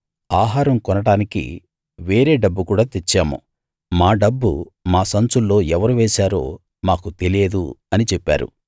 ఆహారం కొనడానికి వేరే డబ్బు కూడా తెచ్చాము మా డబ్బు మా సంచుల్లో ఎవరు వేశారో మాకు తెలియదు అని చెప్పారు